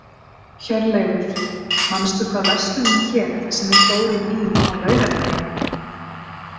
Hjörleifur, manstu hvað verslunin hét sem við fórum í á laugardaginn?